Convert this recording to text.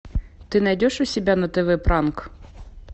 ты найдешь у себя на тв пранк